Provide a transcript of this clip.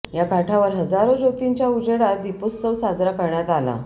या काठावर हजारो ज्योतींच्या उजेडात दीपोत्सव साजरा करण्यात आला